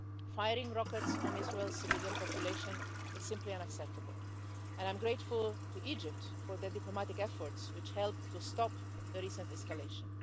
Firing rockets on Israel's civilian population is simply unacceptable, and I'm grateful to Egypt for their diplomatic efforts, which helped to stop the recent escalation.